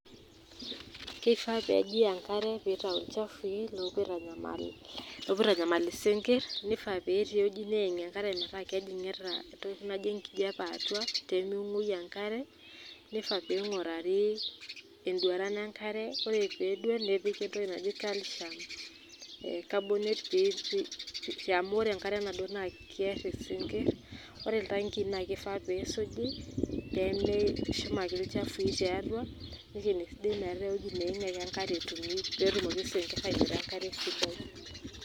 kifaa pee eji enkare mitayu olchafu lopuo aitanyamal lopuo isinkirr. nifaa pee eti eweuji eneem enkare meeta kejingita entoki naijio enkijape atua pemenguoyu enkare ,nifaaa pingurari eduaran enkare. ore pedua nepiki entoki naji calcium ee carbonate pee pe amu ore enkare nado na kiar isinkirr ,ore ilantikii na kifaa pisuji peme eshum ake ilchafui tiatua nekini esidai petumoki isinkir anoto enkare sidai.